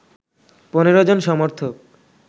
১৫ জন সমর্থক